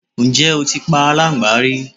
Ǹjẹ́ o ti pa aláńgbá rí?